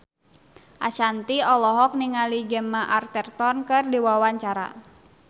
Ashanti olohok ningali Gemma Arterton keur diwawancara